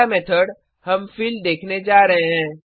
अगला मेथड हम फिल देखने जा रहे हैं